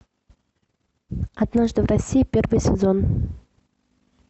однажды в россии первый сезон